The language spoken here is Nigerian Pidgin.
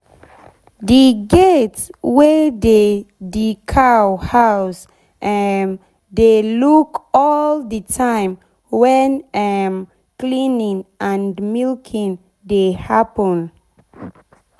d gate wey dey d cow house um dey lock all d time wen um cleaning and milking dey happen